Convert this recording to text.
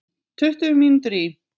Tuttugu mínútur í